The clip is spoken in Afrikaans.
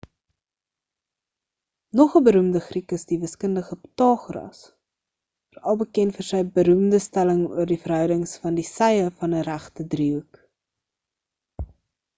nog 'n beroemde griek is die wiskundige pythagoras veral bekend vir sy beroemde stelling oor die verhoudings van die sye van 'n regte driehoek